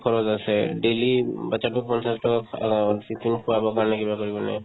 খৰচ আছে daily um batch তোৰ খৰচাতো অহ্ tiffin খোৱাবৰ কাৰণে কিবা কৰিব লাগে